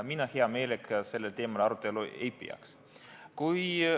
Mina hea meelega sellel teemal arutelu ei peaks.